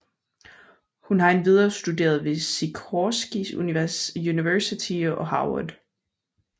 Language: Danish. Hun har endvidere studeret ved Sikorsky University og Havard